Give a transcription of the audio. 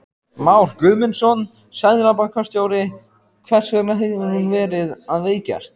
Már Guðmundsson, seðlabankastjóri: Hvers vegna hefur hún verið að veikjast?